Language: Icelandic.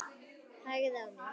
Hægði á mér.